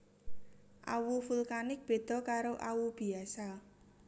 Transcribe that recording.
Awu vulkanik beda karo awu biasa